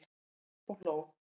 Stóð upp og hló